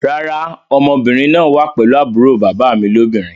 Rárá, ọmọbìnrin náà wá pelu àbúrò bàbá mi lóbìnrin